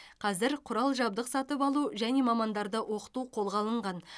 қазір құрал жабдық сатып алу және мамандарды оқыту қолға алынған